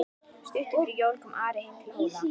Stuttu fyrir jól kom Ari heim til Hóla.